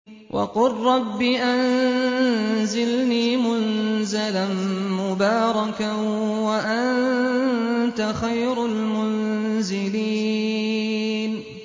وَقُل رَّبِّ أَنزِلْنِي مُنزَلًا مُّبَارَكًا وَأَنتَ خَيْرُ الْمُنزِلِينَ